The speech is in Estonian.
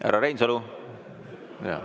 Härra Reinsalu!